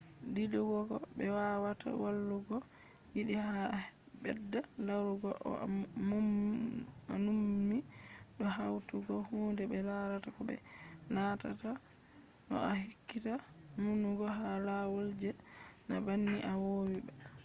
didugo be wawata wolwugo yiɗi ha bedda larugo ko a nummi do hautugo hunde be larata ko be nanata bo a ekkita numugo ha lawol je na banni a vowi ba